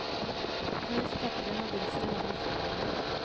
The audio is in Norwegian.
Knus pepperen og dryss den over folien.